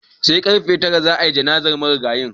Sai karfe tara za a yi jana'izar marigayin.